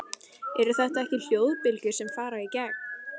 Eru þetta ekki hljóðbylgjur sem fara í gegn?